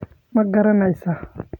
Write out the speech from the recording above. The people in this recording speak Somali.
Ma garanaysaa ?